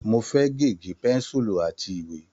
Mo fẹ́ gègé, pẹ́ńsùlù àti ìwé.